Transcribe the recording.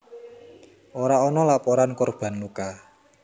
Ora ana laporan korban luka